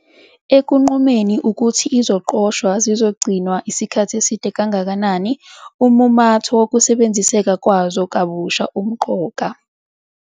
Ekunqumeni ukuthi iziqoshwa zizogcinwa isikhathi eside kangakanani, ummumatho wokusebenziseka kwazo kabusha umqoka.